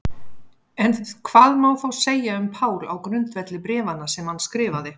En hvað má þá segja um Pál á grundvelli bréfanna sem hann skrifaði?